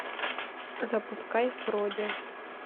запускай фродя